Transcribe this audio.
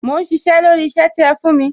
Mò ń sisẹ́ lórí isẹ ti ẹ fún mi